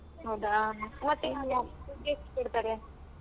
ಹೌದಾ ಹೂ ತಿಂಗ್ಳ ದುಡ್ ಎಷ್ಟ್ ಕೊಡ್ತಾರೆ.